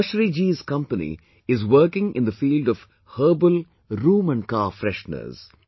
Subhashree ji's company is working in the field of herbal room and car fresheners